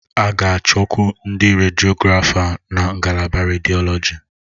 A ga-achọkwu ndị rediọgrafa na ngalaba rediọlọji.